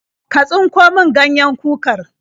Ka tsinko min ganyen kukar?